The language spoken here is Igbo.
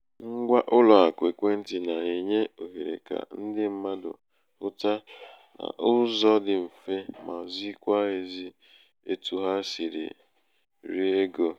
ṅgwa ụlọàkụ̀ ekwentị̀ nà-ènye òhèrè kà ndị mmadụ̀ hụta n’ụzọ̄ dị mfe ma zikwa ēzī etu ha sìrì ri egō.